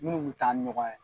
Munnu mi taa ni ɲɔgɔn ye